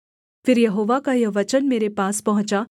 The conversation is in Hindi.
फिर यहोवा का यह वचन मेरे पास पहुँचा